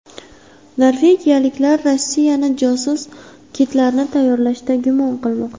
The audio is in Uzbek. Norvegiyaliklar Rossiyani josus kitlarni tayyorlashda gumon qilmoqda.